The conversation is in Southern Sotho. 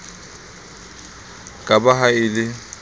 ke ba ha e le